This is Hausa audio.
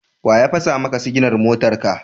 Wa ya fasa maka siginar motarka?